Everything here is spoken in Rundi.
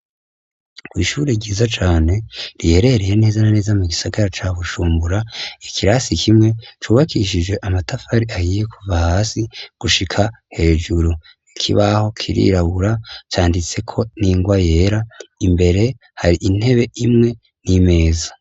kwishuri ryiza cane riherereye neza na neza mu gisagara ca bujumbura , ikirasi kimwe cubakishije amatafari ahiye kuva hasi gushika hejuru, ikibaho kirirabura canditseko n'ingwa yera, imbere hari intebe imwe n'imeza.